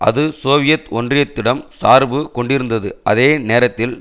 அது சோவியத் ஒன்றியத்திடம் சார்பு கொண்டிருந்தது அதே நேரத்தில்